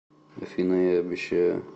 афина я обещаю